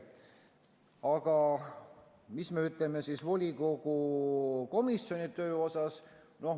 Aga mis me ütleme siis volikogu komisjonide töö kohta?